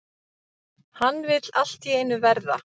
Hann vill allt í einu verða